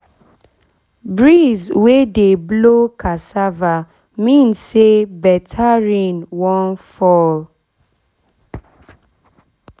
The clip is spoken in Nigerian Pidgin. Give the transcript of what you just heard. breeze wey dey blow cassava mean say better rain wan fall